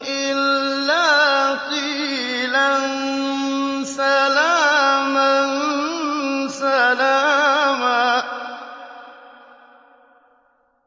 إِلَّا قِيلًا سَلَامًا سَلَامًا